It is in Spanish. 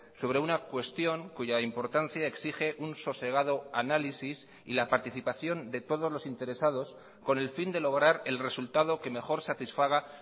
sobre una cuestión cuya importancia exige un sosegado análisis y la participación de todos los interesados con el fin de lograr el resultado que mejor satisfaga